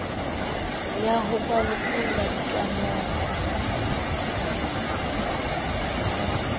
ya ho ba lokolla ditlamong